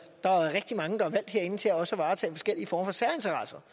der er rigtig mange der er valgt herinde til også at varetage forskellige former for særinteresser